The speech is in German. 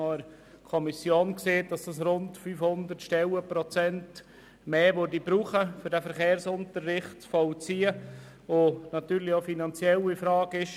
In der Kommission wurde uns gesagt, dass damit für den Vollzug des Verkehrsunterrichts rund 500 Stellenprozente mehr notwendig wären, was auch eine finanzielle Frage ist: